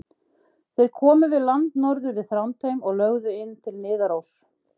Þeir komu við land norður við Þrándheim og lögðu inn til Niðaróss.